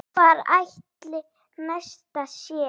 Hvar ætli Nesta sé?